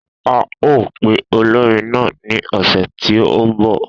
A o pe olórin náà ní ọ̀sẹ̀ tí o ń bọ̀